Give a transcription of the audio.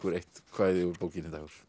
eitt kvæði úr bókinni